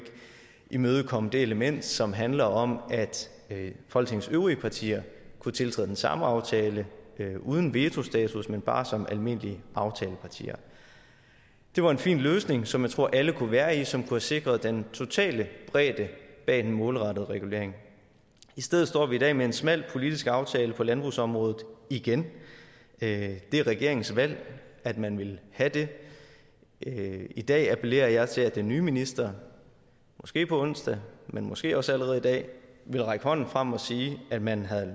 imødekomme det element som handler om at folketingets øvrige partier kunne tiltræde den samme aftale uden vetostatus men bare som almindelige aftalepartier det var en fin løsning som jeg tror at alle kunne være i som kunne have sikret den totale bredde bag den målrettede regulering i stedet står vi i dag med en smal politisk aftale på landbrugsområdet igen det er regeringens valg at man vil have det i dag appellerer jeg til at den nye minister måske på onsdag men måske også allerede i dag vil række hånden frem og sige at man har